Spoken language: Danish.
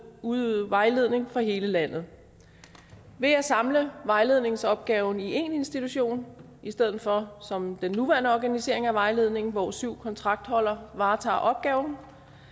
udøve vejledning for hele landet ved at samle vejledningsopgaven i én institution i stedet for som den nuværende organisering af vejledningen hvor syv kontraktholdere varetager opgaven